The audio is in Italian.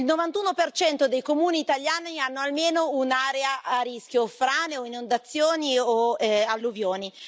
il 91 dei comuni italiani hanno almeno un'area a rischio frane o inondazioni o alluvioni.